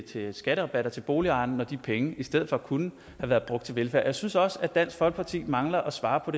til skatterabatter til boligejerne når de penge i stedet for kunne have været brugt til velfærd jeg synes også at dansk folkeparti mangler at svare på